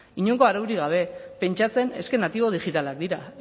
inongo araurik gabe pentsatzen natibo digitalak dira